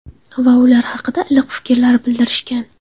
Va ular haqida iliq fikrlar bildirishgan.